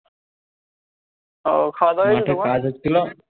ও খাওয়া দাওয়া হয়ে গেছে তোমার